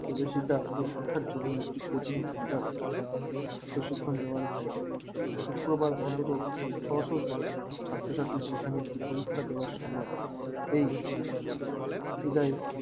বিদেশিতা পরীক্ষার জন্য একটা coaching center প্রশিক্ষণ দেওয়ার হয়তো শুক্রবার অন্তত ছশো ছাত্র-ছাত্রীদের সেখানে পরীক্ষা দেওয়ার সময় এই বিধায়